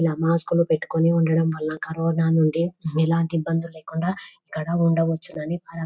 ఇలా మాస్కులు పెట్టుకొని ఉండడం వల్ల కరోనా నుండి ఎలాంటి ఇబ్బందులు లేకుండా ఇక్కడ ఉండవచ్చునని పర --